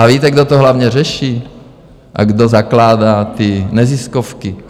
A víte, kdo to hlavně řeší a kdo zakládá ty neziskovky?